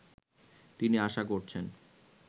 তিনি আশা করছেন